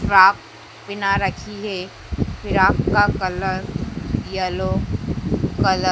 frock पेहना रखी है फिराक का कलर येलो कलर --